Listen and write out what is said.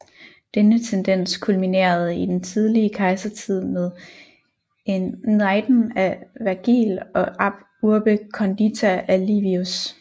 Denne tendens kulminerede i den tidlige kejsertid med Æneiden af Vergil og Ab urbe condita af Livius